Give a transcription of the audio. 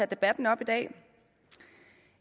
debatten op i dag